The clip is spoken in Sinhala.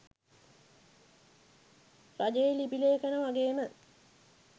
රජයේ ලිපි ලේඛන වගේම